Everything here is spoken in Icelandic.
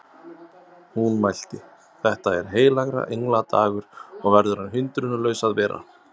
Hún mælti: Þetta er heilagra engla dagur og verður hann hindrunarlaus að vera